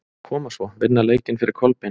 Koma svo, vinna leikinn fyrir Kolbein!